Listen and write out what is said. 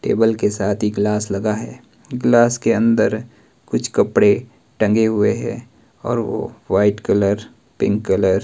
table के साथ ही ग्लास लगा है ग्लास के अंदर कुछ कपड़े टंगे हुए हैं और वो वाइट कलर पिंक कलर --